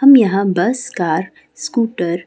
हम यहां bus car scooter